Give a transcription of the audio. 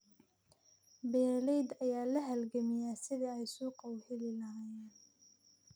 Beeralayda ayaa la halgamaya sidii ay suuqyo u heli lahaayeen.